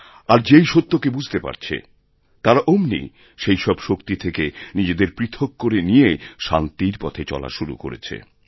আর যেই সত্যকে বুঝতে পারছে তারা অমনি সেই সবশক্তি থেকে নিজেদের পৃথক করে নিয়ে শান্তির পথে চলা শুরু করেছে